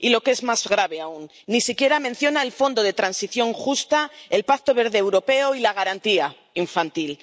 Y, lo que es más grave aún, ni siquiera menciona el Fondo de Transición Justa, el Pacto Verde Europeo y la Garantía infantil.